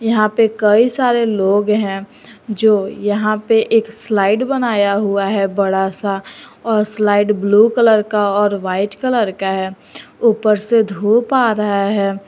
यहां पे कई सारे लोग हैं जो यहां पे एक स्लाइड बनाया हुआ है बड़ा सा और स्लाइड ब्लू कलर का और वाइट कलर का है ऊपर से धूप आ रहा है।